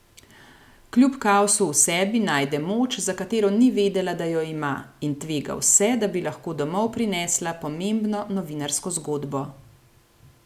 Kljub kaosu v sebi najde moč, za katero ni vedela, da jo ima, in tvega vse, da bi lahko domov prinesla pomembno novinarsko zgodbo.